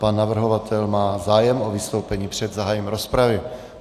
Pan navrhovatel má zájem o vystoupení před zahájením rozpravy.